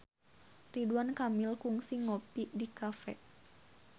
Ridwan Kamil kungsi ngopi di cafe